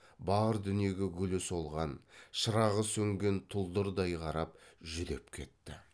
бар дүниеге гүлі солған шырағы сөнген тұлдырдай қарап жүдеп кетті